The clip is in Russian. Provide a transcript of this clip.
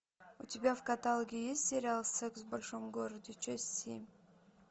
у тебя в каталоге есть сериал секс в большом городе часть семь